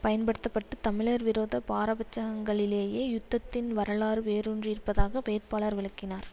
பயன்படுத்த பட்டு தமிழர் விரோத பாரபட்சங்களிலேயே யுத்தத்தின் வரலாறு வேரூன்றியிருப்பதாக வேட்பாளர்கள் விளக்கினர்